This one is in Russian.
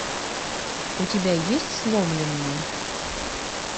у тебя есть сломленные